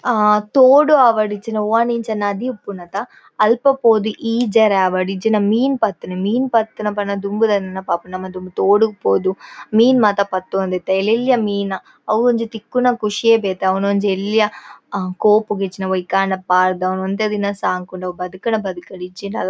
ಹಾ ತೋಡು ಆವಡ್ ಇಜಿಂಡ ಒವ್ವಾಂಡಲ ಇಂಚ ನದಿ ಉಪ್ಪುಂಡತ ಅಲ್ಪ ಪೋದು ಈಜೆರೆ ಆವಡ್ ಇಜಿಂಡ ಮೀನ್ ಪತ್ತುನಿ ಮೀನ್ ಪತ್ತುನ ಪಂಡ ದುಂಬುದ ನೆನಪಾಪುಂಡು. ನಮ ದುಂಬು ತೋಡುಗು ಪೋದು ಮೀನ್ ಮಾತ ಪತ್ತೊಂದು ಇತ್ತ ಎಲ್ಯ ಎಲ್ಯ ಮೀನ್ ಅವ್ ಒಂಜಿ ತಿಕ್ಕುನ ಖುಷಿಯೇ ಬೇತೆ ಅವೆನ್ ಒಂಜಿ ಎಲ್ಯ ಕೋಪುಗು ಇಜಿಂಡ ಒಯ್ಕ್ ಆಂಡಲ ಪಾರ್ದ್ ಅವೆನ್ ಒಂತೆ ದಿನ ಸಾಂಕುನು ಅವು ಬದ್ಕ್ಂಡ ಬದ್ಕ್ಂಡ್ ಇಜ್ಜಿಂಡ--